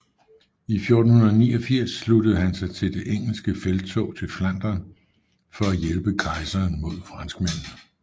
I 1489 sluttede han sig til det engelske felttog til Flandern for at hjælpe kejseren mod franskmændene